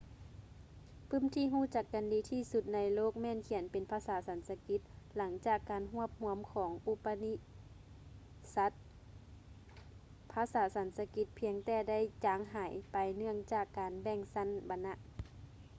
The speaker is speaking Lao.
ປື້ມທີ່ຮູ້ຈັກກັນດີທີ່ສຸດໃນໂລກ ແມ່ນຂຽນເປັນພາສາສັນສະກິດ. ຫຼັງຈາກການຮວບຮວມຂອງ ອຸປະນິຊັດສ໌ upanishads ພາສາສັນສະກິດພຽງແຕ່ໄດ້ຈາງຫາຍໄປເນື່ອງຈາກການແບ່ງຊັ້ນວັນນະ